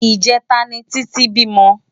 ijètá ni Titi bímò